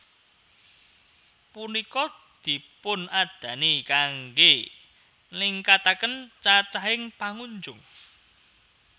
Punika dipunadani kanggé ningkataken cacahing pangunjung